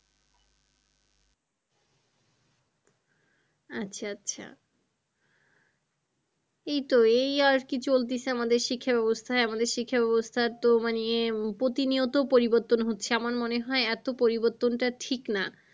আচ্ছা আচ্ছা এই তো এই আর কি চলতেছে আমাদের শিক্ষা ব্যবস্থায় আমাদের শিক্ষা ব্যবস্থার তো মানে প্রতিনিয়ত পরিবর্তন হচ্ছে আমার মনে হয় এতো পরিবর্তনটা ঠিক না।